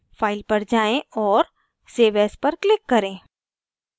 file पर जाएँ और save as पर click करें